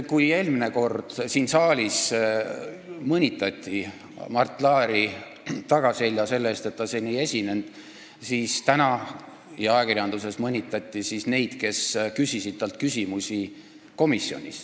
Kui eelmine kord mõnitati siin saalis Mart Laari tagaselja selle eest, et ta siin ei esinenud, siis täna ja ajakirjanduses on mõnitatud neid, kes küsisid talt komisjonis küsimusi.